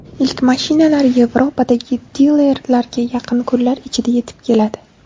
Ilk mashinalar Yevropadagi dilerlarga yaqin kunlar ichida yetib keladi.